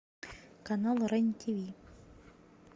канал рен тв